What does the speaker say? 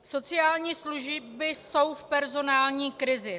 Sociální služby jsou v personální krizi.